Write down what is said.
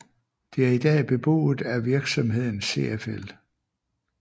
Det er i dag beboet at virksomheden CFL